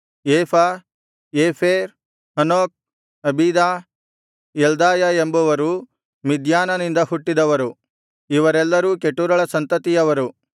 ಏಫ Epher Hanoch Abida Eldaah ಎಂಬವರು ಮಿದ್ಯಾನನಿಂದ ಹುಟ್ಟಿದವರು ಇವರೆಲ್ಲರೂ ಕೆಟೂರಳ ಸಂತತಿಯವರು